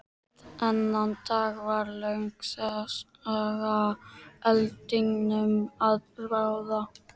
Þennan dag varð löng saga eldinum að bráð.